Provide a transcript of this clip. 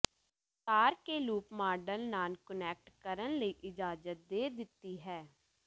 ਤਾਰ ਕੇ loop model ਨਾਲ ਕੁਨੈਕਟ ਕਰਨ ਲਈ ਇਜਾਜ਼ਤ ਦੇ ਦਿੱਤੀ ਹੈ